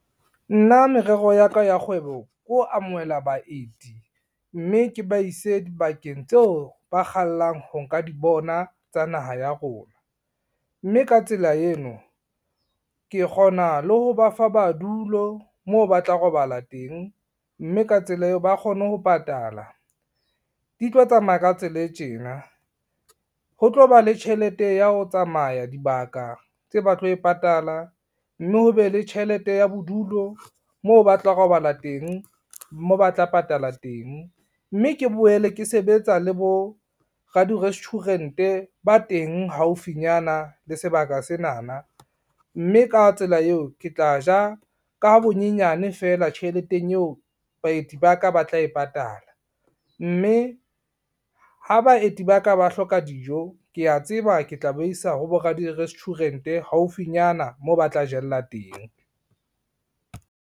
Nna merero ya ka ya kgwebo ke ho amohela baeti, mme ke ba ise dibakeng tseo ba kgallang ho nka di bona tsa naha ya rona, mme ka tsela eno ke kgona le ho ba fa madulo moo ba tla robala teng, mme ka tsela eo ba kgone ho patala. Di tlo tsamaya ka tsela e tjena, ho tlo ba le tjhelete ya ho tsamaya dibaka tse ba tlo e patala, mme ho be le tjhelete ya bodulo moo ba tla robala teng, moo ba tla patala teng, mme ke boele ke sebetsa le bo radi-restuarant-e ba teng haufinyana le sebaka senana, mme ka tsela eo ke tla ja ka bonyenyane feela tjheleteng eo baeti ba ka ba tla e patala. Mme ha baeti ba ka ba hloka dijo, kea tseba ke tla ba isa ho bo radi-restuarant-e haufinyana moo ba tla jella teng.